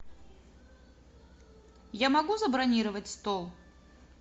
я могу забронировать стол